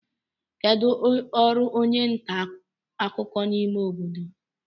kedu ọrụ onye nta akụkọ n'ime obodo